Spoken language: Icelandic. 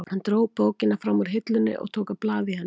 Hann dró bókina fram úr hillunni og tók að blaða í henni.